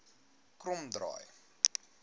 kromdraai